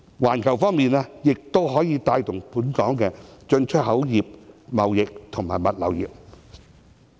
環球方面，亦可以帶動本港的進出口業、貿易及物流業。